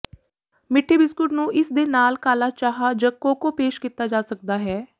ਮਿੱਠੇ ਬਿਸਕੁਟ ਨੂੰ ਇਸ ਦੇ ਨਾਲ ਕਾਲਾ ਚਾਹ ਜ ਕੋਕੋ ਪੇਸ਼ ਕੀਤਾ ਜਾ ਸਕਦਾ ਹੈ